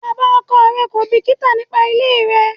Bàbá ọkọ rẹ̀ kò bìkítà nípa ilé rẹ.